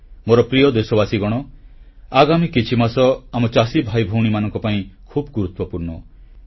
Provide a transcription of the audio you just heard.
ମୋର ପ୍ରିୟ ଦେଶବାସୀଗଣ ଆଗାମୀ କିଛିମାସ ଆମ ଚାଷୀ ଭାଇଭଉଣୀମାନଙ୍କ ପାଇଁ ଖୁବ୍ ଗୁରୁତ୍ୱପୂର୍ଣ୍ଣ